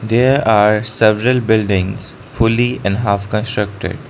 there are several buildings fully and half constructed.